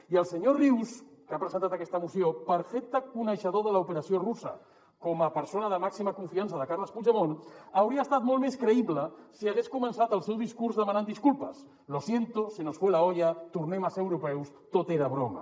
i el senyor rius que ha presentat aquesta moció perfecte coneixedor de l’opera·ció russa com a persona de màxima confiança de carles puigdemont hauria estat molt més creïble si hagués començat el seu discurs demanant disculpes lo siento se nos fue la olla tornem a ser europeus tot era broma